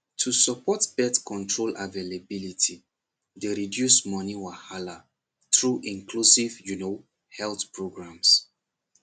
to support birth control availability dey reduce money wahala through inclusive you know health programs